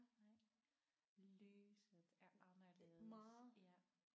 Nej lyset er anderledes ja